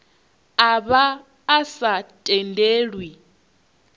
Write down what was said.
a vha a sa tendelwi